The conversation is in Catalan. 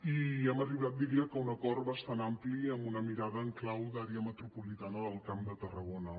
i hem arribat diria a un acord bastant ampli amb una mirada en clau d’àrea metropolitana del camp de tarragona